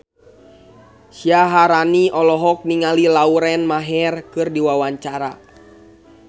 Syaharani olohok ningali Lauren Maher keur diwawancara